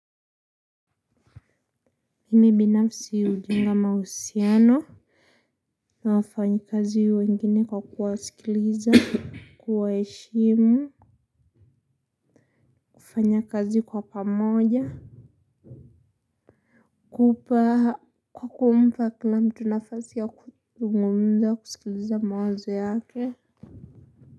Mimi binafsi hujenga mausiano. Na wafanyikazi wengine kwa kuwasikiliza. Kuwaheshimu. Kufanya kazi kwa pamoja. Kupa, kwa kumpa kila mtu nafasi ya kuzungumza, kusikiliza mawazo yake.